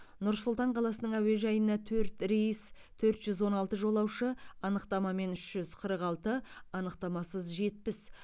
нұр сұлтан қаласының әуежайына төрт рейс төрт жүз он алты жолаушы анықтамамен үш жүз қырық алты анықтамасыз жетпіс